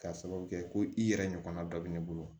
K'a sababu kɛ ko i yɛrɛ ɲɔgɔnna dɔ bɛ ne bolo